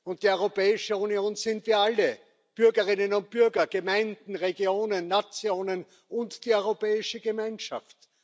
Und die Europäische Union sind wir alle Bürgerinnen und Bürger, Gemeinden, Regionen, Nationen und die europäische Gemeinschaft.